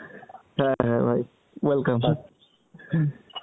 হ্যাঁ হ্যাঁ ভাই welcome,